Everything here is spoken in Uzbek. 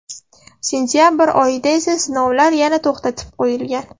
Sentabr oyida esa sinovlar yana to‘xtatib qo‘yilgan.